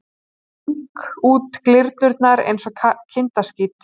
Sting út glyrnurnar einsog kindaskít.